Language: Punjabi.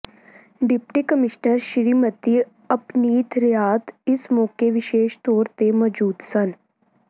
ਡਿਪਟੀ ਕਮਿਸ਼ਨਰ ਸ੍ਰੀਮਤੀ ਅਪਨੀਤ ਰਿਆਤ ਇਸ ਮੌਕੇ ਵਿਸ਼ੇਸ਼ ਤੌਰ ਤੇ ਮੌਜੂਦ ਸਨ